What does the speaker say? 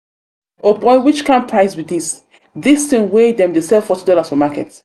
o'boy which kind price be this? this? this thing wey them dey sell forty dollars for market.